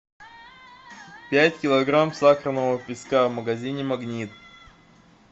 пять килограмм сахарного песка в магазине магнит